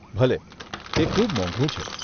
ભલે, એ ખૂબ મોંઘુ છે.